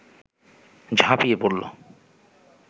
ঝাঁপিয়ে পড়ল